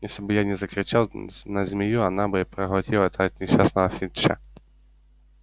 если бы я не закричал на змею она бы проглотила этого несчастного финча